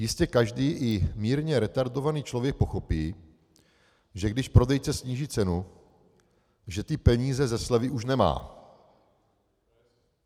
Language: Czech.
Jistě každý, i mírně retardovaný člověk pochopí, že když prodejce sníží cenu, že ty peníze ze slevy už nemá.